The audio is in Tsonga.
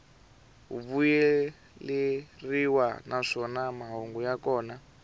vuyeleriwa naswona mahungu ya kona